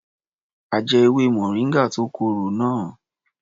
A jẹ ewé moringa tó korò náà.